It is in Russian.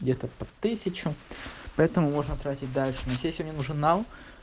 где-то под тысячу поэтому можно тратить дальше но если мне нужен нал